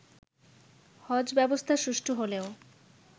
হজ ব্যবস্থা সুষ্ঠু হলেও